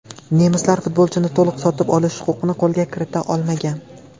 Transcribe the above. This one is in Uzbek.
Nemislar futbolchini to‘liq sotib olish huquqini qo‘lga kirita olmagan.